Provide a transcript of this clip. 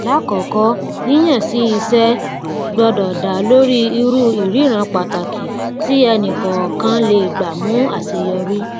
lákòókò yíyàn sí iṣẹ gbọdọ dá lórí ìrú ìríran pàtàkì tí ẹnikọọkan lè gbà mú àṣeyọrí